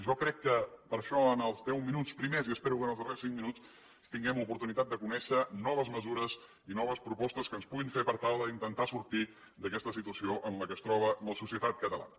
jo crec que per això en els deu minuts primers i espero que en els darrers cinc minuts tinguem oportunitat de conèixer noves mesures i noves propostes que ens puguin fer per tal d’intentar sortir d’aquesta situació en què es troba la societat catalana